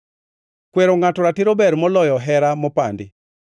Kwero ngʼato ratiro ber moloyo hera mopandi.